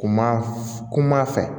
Kuma kuma fɛ